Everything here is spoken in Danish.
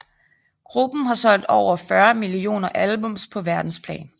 Gruppen har solgt over 40 millioner albums på verdensplan